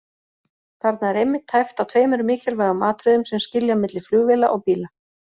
Þarna er einmitt tæpt á tveimur mikilvægum atriðum sem skilja milli flugvéla og bíla.